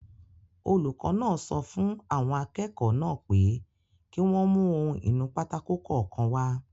Olùkọ́ náà sọ fún àwọn akẹ́kọ̀ọ́ náà pé kí wọ́n mú ohun-ìnúpátákó kọ̀ọ̀kan wá